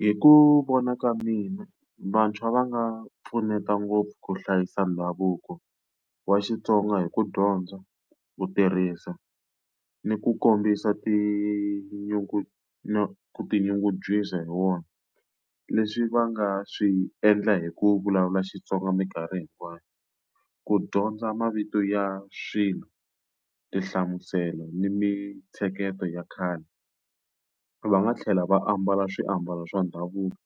Hi ku vona ka mina vantshwa va nga pfuneta ngopfu ku hlayisa ndhavuko wa Xitsonga hi ku dyondza, ku tirhisa, ni ku kombisa ku tinyungubyisa hi wona. Leswi va nga swi endla hi ku vulavula Xitsonga minkarhi hinkwayo, ku dyondza mavito ya swilo, tinhlamuselo, ni mintsheketo ya khale. Va nga tlhela va ambala swiambalo swa ndhavuko,